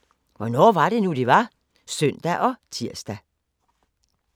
04:50: Hvornår var det nu, det var? (søn og tir)